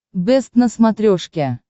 бэст на смотрешке